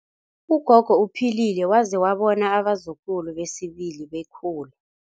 Ugogo uphilile waze wabona abazukulu besibili bekhula.